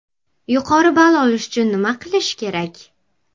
Yuqori ball olish uchun nima qilish kerak?